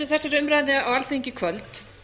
við efnum til þessarar umræðu í kvöld